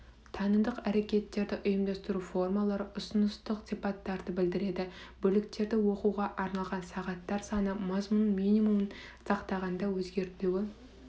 танымдық әрекеттерді ұйымдастыру формалары ұсыныстық сипаттарды білдіреді бөліктерді оқуға арналған сағаттар саны мазмұнның минимумын сақтағанда өзгертілуі